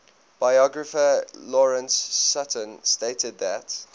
biographer lawrence sutin stated that